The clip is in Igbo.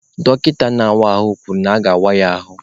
Dọkịta na-awa ahụ kwuru na aga-awa ya ahụ.